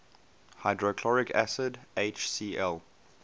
hydrochloric acid hcl